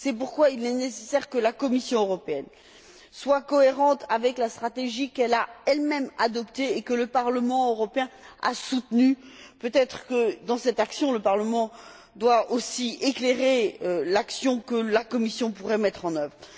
C'est pourquoi il est nécessaire que la Commission soit cohérente avec la stratégie qu'elle a elle même adoptée et que le Parlement européen a soutenue, et peut être que, dans cette action le Parlement doit aussi éclairer l'action que la Commission pourrait mettre en œuvre.